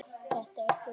Þetta er þitt líf!